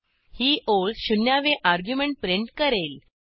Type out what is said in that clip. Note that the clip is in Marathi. ही ओळ शून्यावे अर्ग्युमेंट प्रिंट करेल